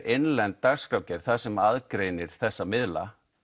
innlend dagskrárgerð sem aðgreinir þessa miðla